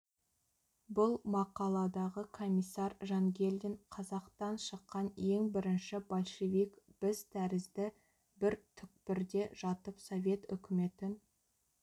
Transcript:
бұл мақаладағы комиссар жангелдин қазақтан шыққан ең бірінші большевик біз тәрізді бір түкпірде жатып совет үкіметін